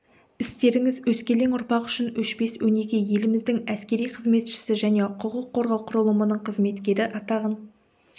істеріңіз өскелең ұрпақ үшін өшпес өнеге еліміздің әскери қызметшісі және құқық қорғау құрылымының қызметкері атағын